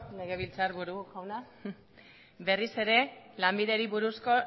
legebiltzarburu jauna berriz ere lanbideri buruzko